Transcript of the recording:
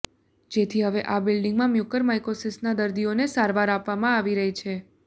જેથી હવે આ બિલ્ડીંગમાં મ્યુકોરમાઇકોસિસના દર્દીઓને સારવાર આપવામાં આવી રહી છે